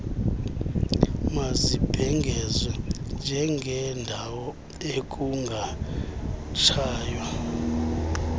mazibhengezwe njengeendawo ekungatshaywa